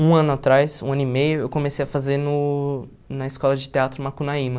Um ano atrás, um ano e meio, eu comecei a fazer no na escola de teatro Macunaíma.